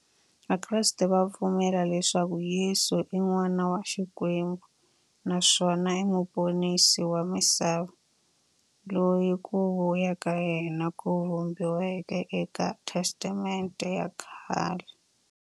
Vakreste va pfumela leswaku Yesu i n'wana wa Xikwembu naswona i muponisi wa misava, loyi ku vuya ka yena ku vhumbiweke e ka Testamente ya khale.